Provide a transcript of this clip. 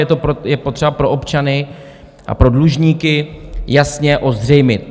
Je to potřeba pro občany a pro dlužníky jasně ozřejmit.